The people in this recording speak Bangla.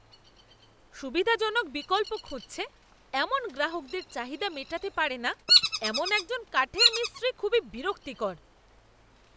সুবিধাজনক বিকল্প খুঁজছে এমন গ্রাহকদের চাহিদা মেটাতে পারে না এমন একজন কাঠের মিস্ত্রি খুবই বিরক্তিকর।